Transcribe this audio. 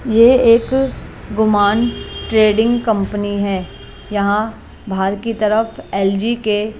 यह एक गुमान ट्रेडिंग कंपनी है यहां बाहर की तरफ एलजी के --